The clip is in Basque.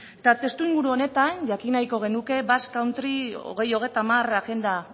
eta testu inguru honetan jakin nahiko genuke basque country bi mila hogeita hamar agenda